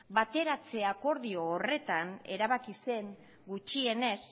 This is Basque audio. bateratze akordio horretan erabaki zen gutxienez